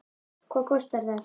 Hvað kostar þetta?